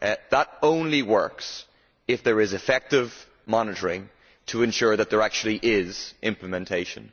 That only works if there is effective monitoring to ensure that there actually is implementation.